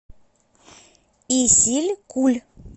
исилькуль